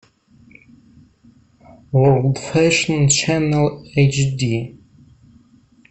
ворлд фэшн ченел эйчди